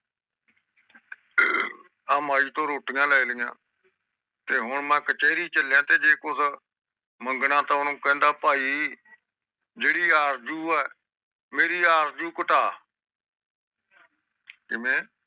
ਆਹ ਮਯੀ ਤੋਂ ਰੋਟੀਆਂ ਲੈ ਲਿਆ ਤੇ ਹੁਣ ਮੈਂ ਕਚੈਰੀ ਚਲਿਆ ਤੇ ਕੁਜ ਮੰਗਣਾ ਤਾ ਓਹਨੂੰ ਕਹਿੰਦਾ ਭਾਈ ਜਿਹੜੇ ਆਰਜੂ ਆ ਮੇਰੀ ਆਰਜੂ ਘਟਾ ਕਿਵੇਂ